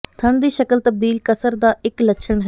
ਥਣ ਦੀ ਸ਼ਕਲ ਤਬਦੀਲ ਕਸਰ ਦਾ ਇੱਕ ਲੱਛਣ ਹੈ